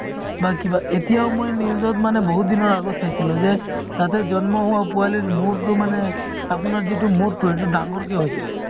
বা কিবা এতিয়াও মই news ত মানে বহুত দিনৰ আগত চাইছিলো যে তাতে জন্ম হোৱা পোৱালিৰ মূৰতো মানে আপোনাৰ যিটো মূৰতো সেইটো ডাঙৰকে হৈছিলে